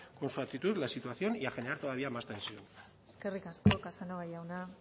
con su actitud la situación y a generar todavía más tensión eskerrik asko casanova jauna